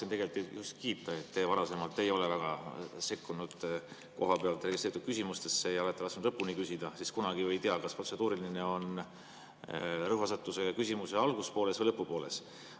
Ma tahtsin teid just kiita, et te varasemalt ei ole väga sekkunud kohapealt esitatud küsimustesse ja olete lasknud lõpuni küsida, sest kunagi ju ei tea, kas protseduuriline rõhuasetus on küsimuse alguspooles või lõpupooles.